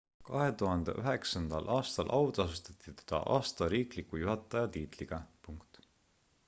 2009 aastal autasustati teda aasta riikliku juhataja tiitliga